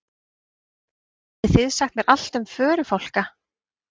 Getið þið sagt mér allt um förufálka?